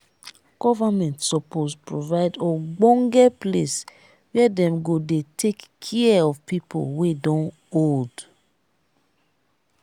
government suppose provide ogbonge place were dem go dey take care of pipo wey don old.